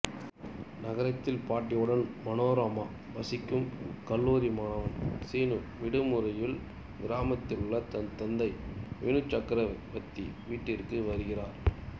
நகரத்தில் பாட்டியுடன் மனோரமா வசிக்கும் கல்லூரி மாணவன் சீனு விடுமுறையில் கிராமத்திலுள்ள தன் தந்தை வினு சக்கரவர்த்தி வீட்டுக்கு வருகிறான்